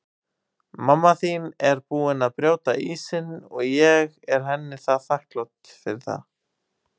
Mamma þín er búin að brjóta ísinn og ég er henni þakklát fyrir það.